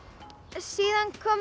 síðan komu